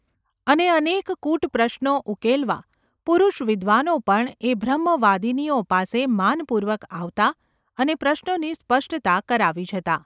અને અનેક કૂટ પ્રશ્નો ઉકેલવા પુરુષવિદ્વાનો પણ એ બ્રહ્મવાદિનીઓ પાસે માનપૂર્વક આવતા અને પ્રશ્નોની સ્પષ્ટતા કરાવી જતા.